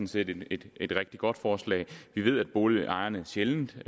set et et rigtig godt forslag vi ved at boligejerne sjældent har